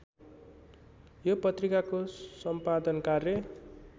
यो पत्रिकाको सम्पादनकार्य